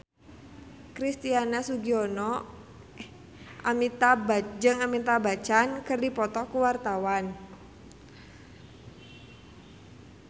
Christian Sugiono jeung Amitabh Bachchan keur dipoto ku wartawan